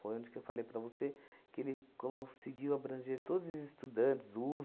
Foi onde que eu falei para você que ele conseguiu abranger todos os estudantes,